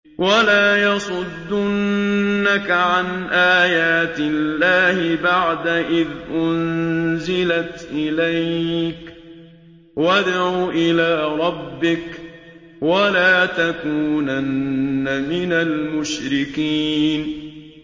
وَلَا يَصُدُّنَّكَ عَنْ آيَاتِ اللَّهِ بَعْدَ إِذْ أُنزِلَتْ إِلَيْكَ ۖ وَادْعُ إِلَىٰ رَبِّكَ ۖ وَلَا تَكُونَنَّ مِنَ الْمُشْرِكِينَ